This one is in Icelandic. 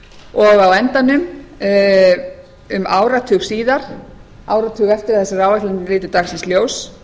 og á endanum um áratug síðar áratug eftir að þessar áætlanir litu dagsins ljós